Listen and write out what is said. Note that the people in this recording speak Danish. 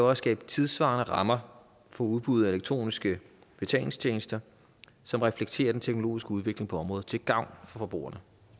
at skabe tidssvarende rammer for udbuddet af elektroniske betalingstjenester som reflekterer den teknologiske udvikling på området til gavn for forbrugerne